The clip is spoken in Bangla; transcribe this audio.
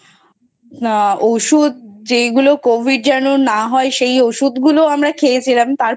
আ ঔষুধ যেইগুলো Covid যেন না হয় সেই ঔষুধ গুলো আমরা খেয়েছিলাম।